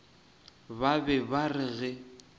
ba be ba re ge